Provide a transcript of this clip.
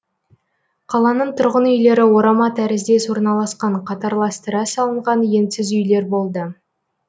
қаланың тұрғын үйлері орама тәріздес орналасқан қатарластыра салынған енсіз үйлер болды